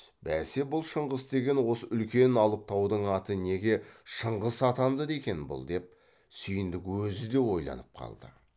бәсе бұл шыңғыс деген осы үлкен алып таудың аты неге шыңғыс атанды екен бұл деп сүйіндік өзі де ойланып қалды